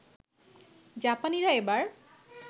জাপানিরা এবার